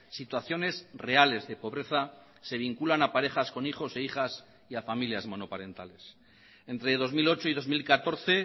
situaciones reales de pobreza se vinculan a parejas con hijos e hijas y a familias monoparentales entre dos mil ocho y dos mil catorce